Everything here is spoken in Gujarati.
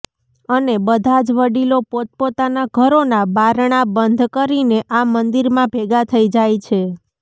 અને બધા જ વડીલો પોતપોતાના ઘરોના બારણાં બંધ કરીને આ મંદિરમાં ભેગા થઇ જાય છે